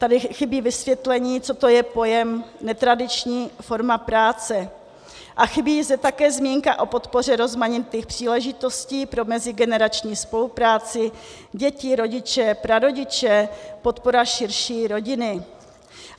Tady chybí vysvětlení, co to je pojem netradiční forma práce, a chybí zde také zmínka o podpoře rozmanitých příležitostí pro mezigenerační spolupráci děti, rodiče, prarodiče, podpora širší rodiny.